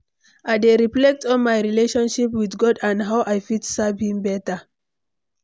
I dey reflect on my relationship with God and how i fit serve him beta.